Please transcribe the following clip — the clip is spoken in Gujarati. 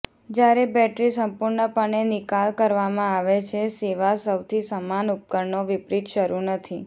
જ્યારે બેટરી સંપૂર્ણપણે નિકાલ કરવામાં આવે છે સેવા સૌથી સમાન ઉપકરણો વિપરીત શરૂ નથી